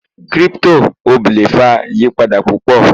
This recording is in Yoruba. cripto oble fa iyipada pupo